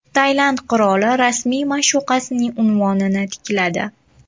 Tailand qiroli rasmiy ma’shuqasining unvonini tikladi.